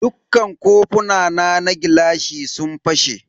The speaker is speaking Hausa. Dukka kofina na gilashi sun fashe.